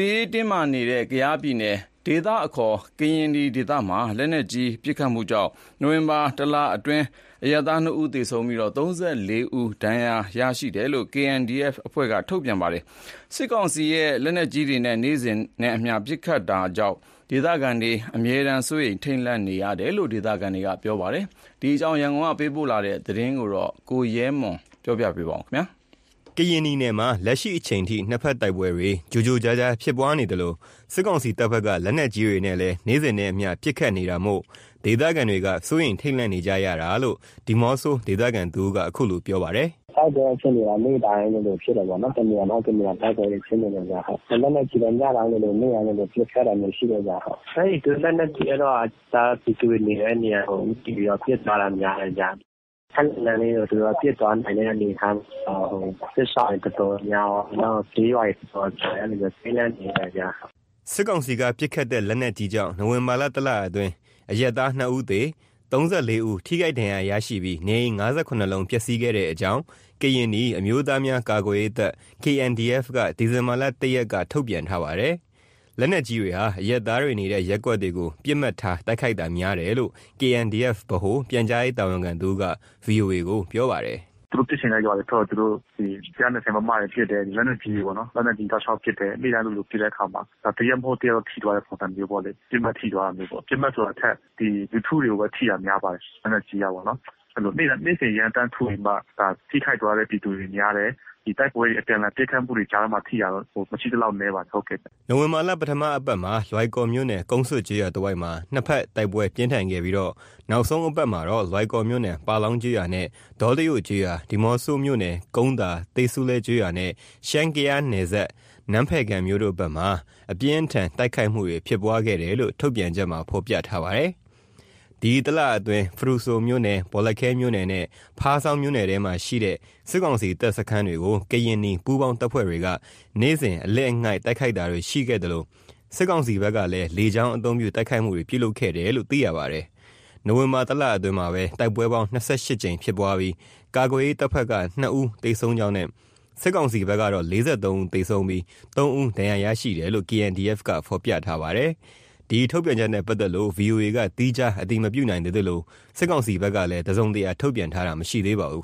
ေးတင်းမားနေတဲ့ ကယားပြည်နယ် ဒေသအခေါ် ကရင်နီနယ်မှာ လက်နက်ကြီးပစ်ခတ်မှုကြောင့် နိုဝင်ဘာလ တလအတွင်း အရပ်သား ၂ဦးသေ၊ ၃၄ ဦး ထိခိုက်ဒဏ်ရာရရှိတယ်လို့ KNDF က ထုတ်ပြန်ပါတယ်။ စစ်ကောင်စီဘက်က လက်နက်ကြီးတွေနဲ့ နေ့စဉ်နဲ့အမျှ ပစ်ခတ်နေတာမို့ ဒေသခံတွေ အမြဲတမ်း စိုးရိမ် ထိတ်လန့်နေရတာလို့ ဒေသခံတွေ ပြောပါတယ်။ ကယားအခြေအနေ ရန်ကုန်ကသတင်းပေးပို့ထားတာ ကို ကိုရဲမွန် က ပြောပြပေးမှာပါ။ ကရင်နီနယ်မှာ လက်ရှိအချိန်ထိ နှစ်ဖက်တိုက်ပွဲတွေ ကြိုကြားဖြစ်ပွားနေသလို၊ စစ်ကောင်စီတပ်ဖက်က လက်နက်ကြီးတွေနဲ့ နေ့စဉ်ပစ်ခတ်နေတာကြောင့် ဒေသခံတွေက စိုးရိမ်ထိတ်လန့်နေကြရတာလို့ ဒီးမော့ဆိုမြို့ခံတဦးက ခုလို ပြောပါတယ်။ “တိုက်ပွဲအခြေအနေက နေ့တိုင်းလိုလိုဖြစ်တာပေါ့နော်၊ တနေရာ မဟုတ် တနေရာ တိုက်ပွဲတွေဖြစ်နေတယ်ဗျ။ လက်နက်ကြီးလည်း ညတိုင်း၊ နေ့တိုင်း ပစ်ခတ်တာမျိုးရှိတယ်ဗျ ။ အဲ့ဒီလက်နက်ကြီးကတော့ အရပ်သားပြည်သူတွေ နေတဲ့နေရာ ဦးတည်ပြီးတော့ ပစ်သွားတာ များတယ်ဗျ။ ခပ်လှမ်းလှမ်းလေကို သူတို့ပစ်သွားနိုင်တဲ့ အနေအထား ဟို စစ်ရှောင်တွေ တော်တော်များများရော ကျေးရွာတွေရော အဲ့လိုမျိုး ထိတ်လန့်နေရတယ်ဗျ။” စစ်ကောင်စီက ပစ်ခတ်တဲ့ လက်နက်ကြီးကြောင့် နိုဝင်ဘာလ လအတွင်း အရပ်သား ၂ဦးသေ၊ ၃၄ ဦး ထိခိုက်ဒဏ်ရာရရှိပြီး နေအိမ် ၅၇ လုံးပျက်စီးခဲ့တဲ့အကြောင်း ကရင်နီ အမျိုးသားများ ကာကွယ်ရေးတပ် (KNDF)က ဒီဇင်ဘာ ၁ရက် မနေ့က ထုတ်ပြန်ထားပါတယ်။ လက်နက်ကြီတွေဟာ အရက်သားတွေနေတဲ့ ရပ်ကွက်တွေကို ပစ်မှတ်ထား တိုက်ခိုက်တာများတယ်လို့ KNDF ဗဟိုပြန်ကြားရေး တာဝန်ခံတဦး က ဗွီအိုအေ ကို ပြောပါတယ်။ “ သူတို့ ပစ်ချင်တဲ့ ရွာတွေဘက်ကို သူတို့ ဒီ ၁၂၀ မမ တွေနဲ့ ပစ်တယ်။ လက်နက်ကြီးတွေပေါ့နော်။ လက်နက်ကြီးတွေ တောက်လျှောက်ပစ်တယ်။ နေ့စဉ်လိုလို ပစ်တဲ့အခါမှာ တရက်မဟုတ်တော့ တရက် ထိသွားတဲ့ ပုံစံမျိုးပေါ့လေ။ ပစ်မှတ်ထိသွားတာမျိုးပေါ့။ ပစ်မှတ်ဆိုတာထက် ဒီလူထုတွေကိုပဲ ထိတာ များပါတယ်။ လက်နက်ကြီးကပေါနော်။ အဲ့လို နေ့စဉ်ရမ်းသမ်းထုပြီးမှ ဒါထိခိုက်သွားတဲ့ ပြည်သူတွေ များတယ်။ ဒီတိုက်ပွဲတွေ အပြန်အလှန်ပစ်ခတ်မှုတွေကြာထဲမှာ ထိတာတော့ မရှိသလောက်နည်းပါတယ် ဟုတ်ကဲ့။” နိုဝင်ဘာ ပထမအပတ်မှာ လွိုင်ကော်မြို့နယ် ကုန်းဆွတ်ကျေးရွာတဝိုက်မှာ နှစ်ဖက်တိုက်ပွဲပြင်းထန်ခဲ့ပြီး နောက်ဆုံးအပတ်မှာတော့ လွိုင်ကော်မြို့နယ် ပါလောင်းကျေးရွာနဲ့ ဒေါတယို့ကျေးရွာ၊ ဒီးမော့ဆိုမြို့နယ် ကုန်းသာ၊ သေးဆူလဲကျေးရွာ နဲ့ ရှမ်း-ကယားနယ်စပ် နန်းဖယ်ခံမြို့တို့ဖက်မှာ အပြင်းအထန် တိုက်ခိုက်မှုတွေ ဖြစ်ပွားခဲ့တယ်လို့ ထုတ်ပြန်ချက်မှာ ဖော်ပြထားပါတယ်။ ဒီတလအတွင်း ဖရူဆိုမြို့နယ်၊ ဘောလခဲမြို့နယ် နဲ့ ဖားဆောင်းမြို့နယ်မှာရှိတဲ့ စစ်ကောင်စီတပ်စခန်းတွေကို ကရင်နီပူးပေါင်းတပ်ဖွဲ့တွေက နေ့စဉ်အလစ်အငိုက်တိုက်ခိုက်တာတွေရှိသလို၊ စစ်ကောင်စီဘက်ကလည်း လေကြောင်းအသုံးပြု တိုက်ခိုက်မှုတွေ ပြုလုပ်ခဲ့တယ်လို့ သိရပါတယ်။ နိုဝင်ဘာ တလအတွင်း တိုက်ပွဲပေါင်း ၂၈ ကြိမ်ဖြစ်ပွားပြီး ကာကွယ်ရေးတပ်ဖက်က ၂ဦးသေဆုံးကြောင်းနဲ့ စစ်ကောင်စီဖက်ကတော့ ၄၃ ဦးသေဆုံး၊ ၃ဦး ဒဏ်ရာရရှိတယ်လို့ KNDF က ဖော်ပြထားပါတယ်။ ဒီထုတ်ပြန်ချက်နဲ့ ပတ်သက်လို့ VOA က သီးခြားအတည်မပြုနိုင်သေးသလို စစ်ကောင်စီဘက်ကလည်း တစုံတရာထုတ်ပြန်တာ မရှိသေးပါဘူး